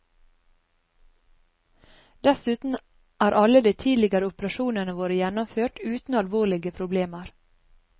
Dessuten er alle de tidligere operasjonene våre gjennomført uten alvorlige problemer.